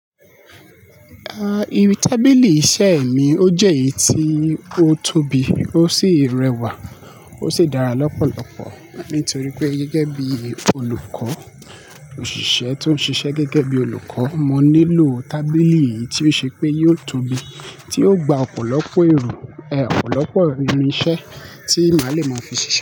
Ah, irú tábìlì iṣẹ́ mi, ó jẹ́ èyí tí ó tóbi, ó sì rẹwà, ó sì dára lọ́pọ̀lọpọ̀ nítorí pé gẹ́gẹ́ bí olùkọ́, òṣìṣẹ́ tó ń ṣiṣẹ́ gẹ́gẹ́ bí olùkọ́, mo nílò tábìlì yí tí ó ṣe pé yóò tóbi, tí yóò gba ọ̀pọ̀lọpọ̀ èrò, ọ̀pọ̀lọpọ̀ irinṣẹ́ tí màá le maa fi ṣiṣẹ́.